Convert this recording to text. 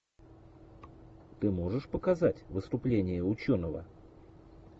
ты можешь показать выступление ученого